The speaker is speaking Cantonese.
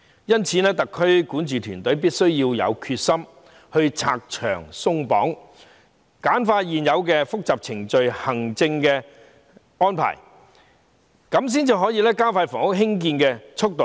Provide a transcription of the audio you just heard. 因此，特區管治團隊必須有決心拆牆鬆綁，簡化現有的複雜程序和行政安排，這樣才能加快興建房屋的速度。